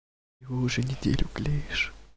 и уже неделю клеишь